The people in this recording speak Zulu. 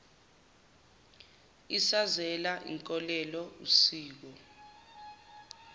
isazela inkolelo usiko